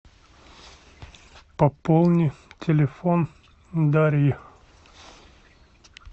пополни телефон дарьи